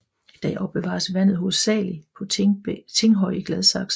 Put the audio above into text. I dag opbevares vandet hovedsagelig på Tinghøj i Gladsaxe